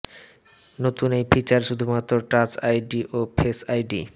নতুন এই ফিচার শুধুমাত্র টাচ আইডি ও ফেস আইডি